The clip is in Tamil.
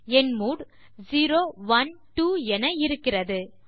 என் மூட் செரோ ஒனே ட்வோ என இருக்கிறது